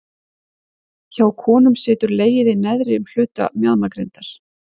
Hjá konum situr legið í neðri hluta mjaðmagrindar.